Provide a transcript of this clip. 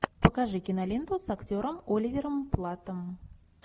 покажи киноленту с актером оливером платтом